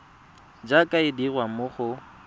jaaka e dirwa mo go